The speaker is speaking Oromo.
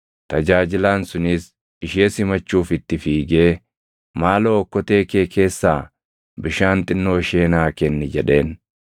Tajaajilaan sunis ishee simachuuf itti fiigee, “Maaloo okkotee kee keessaa bishaan xinnoo ishee naa kenni” jedheen.